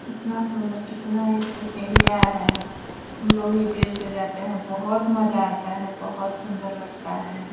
कितना सुन्दर कितना इस पे सीढियाॅं है। हम लोग भी ब्रिज पे जाते हैं बहोत मजा आता है बहोत सुन्दर लगता है।